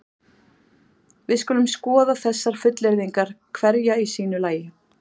Við skulum skoða þessar fullyrðingar hverja í sínu lagi.